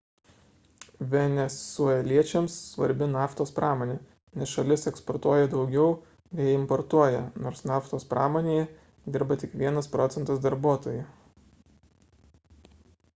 venesueliečiams svarbi naftos pramonė nes šalis eksportuotoja daugiau nei importuoja nors naftos pramonėje dirba tik vienas procentas darbuotojų